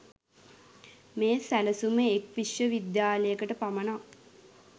මේ සැළසුම එක් විශ්ව විද්‍යාලයකට පමණක්